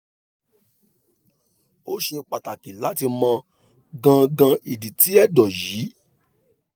o ṣe pataki lati mọ gangan idi ti ẹdọ yii